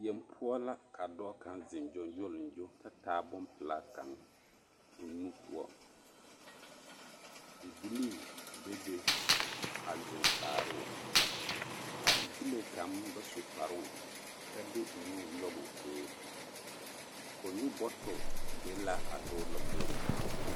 Yeŋ poɔ la ka dɔɔ kaŋ zeŋ gyoŋgyoliŋgyo ta taa pompelaa kaŋa o nu poɔ, bibilii bebe a zeŋ kaaroo a bibile kaŋ ba zu kparoŋ ta de o nu nyɔge o toori kɔnnyu bɔtole be la a dɔɔ lomboriŋ.